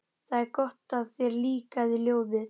Það er gott að þér líkaði ljóðið.